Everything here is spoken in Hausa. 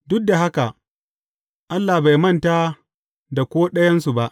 Duk da haka, Allah bai manta da ko ɗayansu ba.